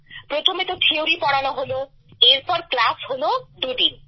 প্রথমে তো থিওরি পড়ানো হলো এরপর ক্লাস হলো দুদিন